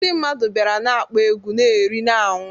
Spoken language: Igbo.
Ndị mmadụ bịara na-akpọ egwu, na-eri, na-aṅụ